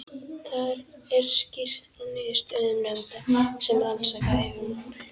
Þar er skýrt frá niðurstöðum nefndar sem rannsakað hefur mál